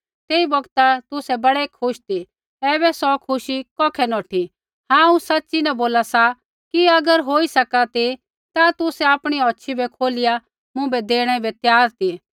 तेई बौगता तुसै बड़ै खुश ती ऐबै सौ खुशी कौखै नौठी हांऊँ सच़ी न बोली सका सा कि अगर होई सका ती ता तुसै आपणी होछ़ी भी खोलिया मुँभै देणे बै त्यार ती